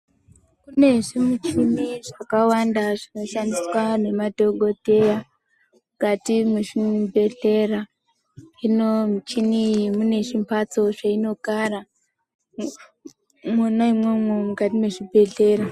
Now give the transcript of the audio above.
Kune zvimuchini zvakawanda zvinoshandiswa nemadhokodheya, mukati mwezvibhedhlera. Hino muchini iyi mune zvimphatso zveinogara mwona imwomwo mukati mezvibhedhlera